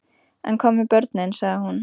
En hvað með börnin, sagði hún.